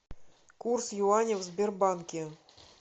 курс юаня в сбербанке